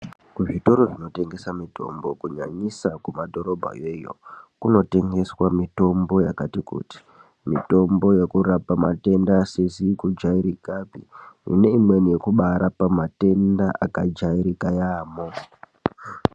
Kuzvitoro zvinotengesa mitombo kunyanyisa kumadhoroba iyoyo kunotengeswa mitombo yakati kuti mitombo yekurapa matenda asizi kujairikapi neimweni yekubarapa matenda akajairika yaamho.